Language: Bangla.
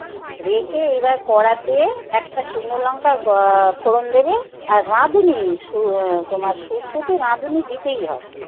রেখে এবার করাতে একটা শুকনো লঙ্কা ফোড়ন দেবে। আর রাঁধুনি তোমার শুক্ত তে রাঁধুনি দিতেই হয়।